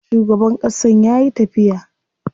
Shugaban ƙasan yayi tafiya.